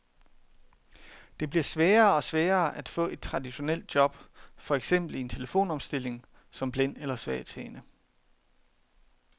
Det bliver sværere og sværere at få et traditionelt job, for eksempel i en telefonomstilling, som blind eller svagtseende.